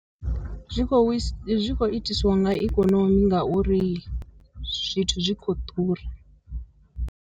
Zwi kho zwikho itiswa nga ikonomi ngauri zwithu zwi khou ḓura.